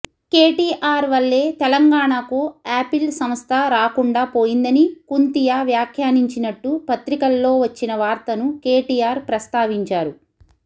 కేటీఆర్ వల్లే తెలంగాణకు ఆపిల్ సంస్థ రాకుండా పోయిందని కుంతియా వ్యాఖ్యానించినట్టు పత్రికల్లో వచ్చిన వార్తను కేటీఆర్ ప్రస్తావించారు